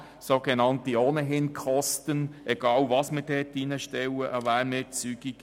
Das sind sogenannte «ohnehin»-Kosten, egal, welcher Wärmeerzeuger dort eingebaut wird.